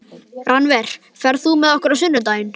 Rannver, ferð þú með okkur á sunnudaginn?